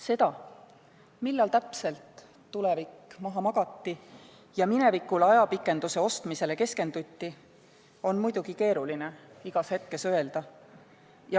Seda, millal täpselt tulevik maha magati ja minevikule ajapikenduse ostmisele keskenduti, on muidugi keeruline igas hetkes öelda.